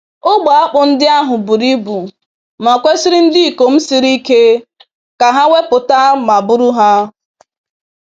Ogbe akpụ ndị ahụ buru ibu ma kwesịrị ndịikom siri ike ka ha wepụta ma buru ha.